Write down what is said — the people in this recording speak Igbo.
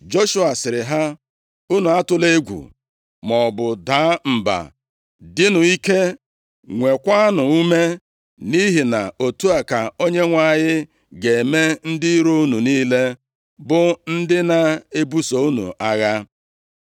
Joshua sịrị ha, “Unu atụla egwu, maọbụ daa mba. Dịnụ ike, nweekwanụ ume, nʼihi na otu a ka Onyenwe anyị ga-eme ndị iro unu niile bụ ndị na-ebuso unu agha.”